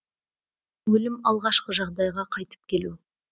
өлім алғашқы жағдайға қайтып келу